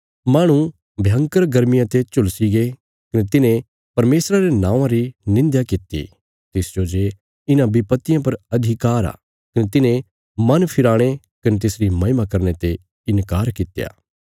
माहणु भयंकर गर्मिया ते झुलसिगे कने तिन्हें परमेशर रे नौआं री निंध्या कित्ती तिसजो जे इन्हां विपत्तियां पर अधिकार आ कने तिन्हें मन फिराणे कने तिसरी महिमा करने ते इन्कार कित्या